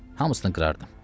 Hamısını qırardım.